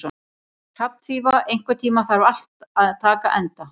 Hrafnfífa, einhvern tímann þarf allt að taka enda.